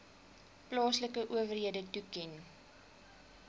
plaaslike owerhede toeken